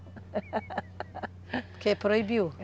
Porque proibido?